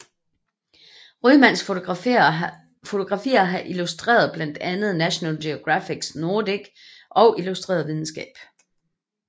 Rymans fotografier har illustreret blandt andet National Geographic Nordic og Illustreret Videnskab